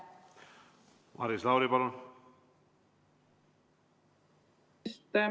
Maris Lauri, palun!